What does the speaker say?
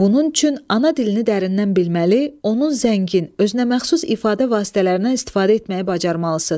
Bunun üçün ana dilini dərindən bilməli, onun zəngin, özünəməxsus ifadə vasitələrindən istifadə etməyi bacarmalısınız.